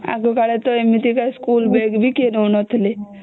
ଆଗ କଲେ ତ ଏମିତି ସ୍କୁଲ ବେଗ ବି କେହି ନଉ ନଥିଲେ